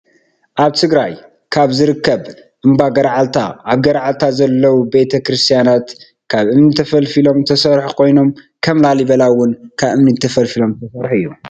ኣብ ትግራይ ካብ ዝርከብ እምባ ገረዓልታ ኣብ ገራዓልታ ዘለው ቤተ-ክርትያናት ካብ እምኒ ተፈሊፎም ዝተሰርሑ ኮይኖ ከም ላሊበላ እወን ካብ እምኒ ተፈሊፊሎም ዝተሰርሑ እዩ።